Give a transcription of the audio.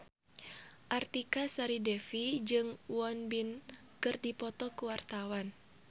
Artika Sari Devi jeung Won Bin keur dipoto ku wartawan